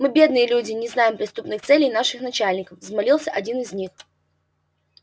мы бедные люди и не знаем преступных целей наших начальников взмолился один из них